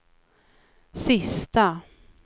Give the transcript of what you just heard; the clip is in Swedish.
sista